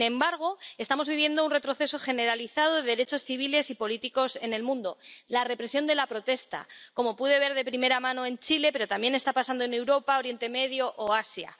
Sin embargo, estamos viviendo un retroceso generalizado de los derechos civiles y políticos en el mundo —la represión de la protesta—, como pude ver de primera mano en Chile. Pero también está pasando en Europa, Oriente Medio o Asia.